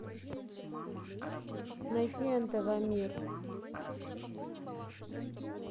найти нтв мир